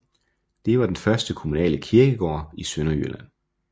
Det var den første kommunale kirkegård i Sønderjylland